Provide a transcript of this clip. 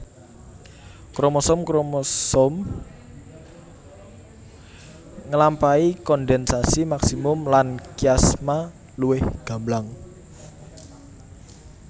Kromosom kromosom ngelampahi kondensasi maksimum lan kiasma luwih gamblang